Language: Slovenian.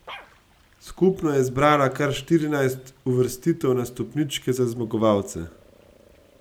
Skupno je zbrala kar štirinajst uvrstitev na stopničke za zmagovalce.